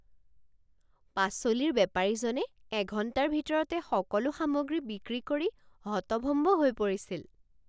পাচলিৰ বেপাৰীজনে এঘণ্টাৰ ভিতৰতে সকলো সামগ্ৰী বিক্ৰী কৰি হতভম্ব হৈ পৰিছিল।